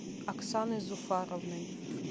оксаной зуфаровной